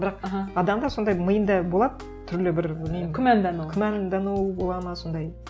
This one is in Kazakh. бірақ адамда сондай миында болады түрлі бір білмеймін күмәндану күмәндану болады ма солай